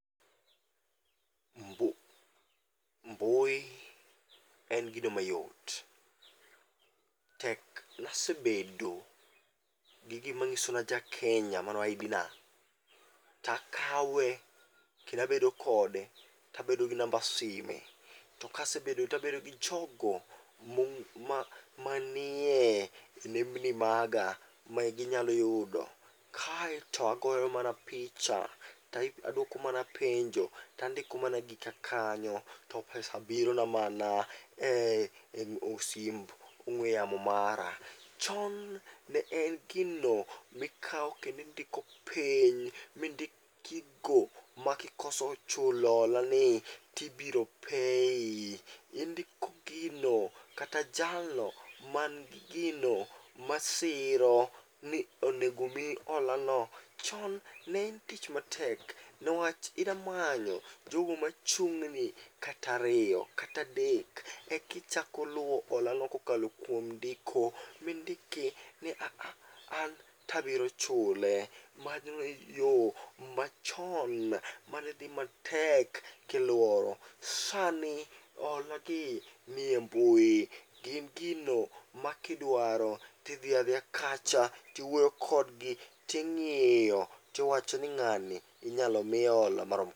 Mbu mbui en gino mayo, tek nasebedo gi gimang'iso naja Kenya mano ID na. Takawe kendoabedo kode, tabedo gi namba sime . Tokasebedo tabedo gi jogo mong' manie nembni maga maginyalo yudo, kaeto agoyo mana picha to adwoko mana penjo tandiko mana gika kanyo to pesa birona mana e osimb ong'we yamo mara. Chon ne en gino mikao kendindiko piny, mindik gigo makikoso chulo hola ni tibiro pei. Indiko gino kata jalo man gi gino masiro ni onegomiyi hola no. Chon ne en tich matek newach idamanyo jogo machung'ni katariyo, katadek, ikichako luwo hola no kokalo kuom ndiko mindiki ni "aaha an tabiro chule." Mane yo machon manedhi matek kilworo. Sani hola gi nie mbui, gin gino ma kidwaro tidhi adhiya kacha tiwuoyo kjodgi, tiwacho nin ng'ani inyalo mi hola marom kama.